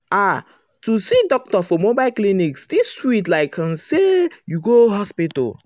ah to see doctor for mobile clinic still sweet like um say you go hospital.